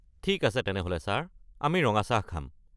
ঠিক আছে তেনেহ’লে ছাৰ, আমি ৰঙা চাহ খাম।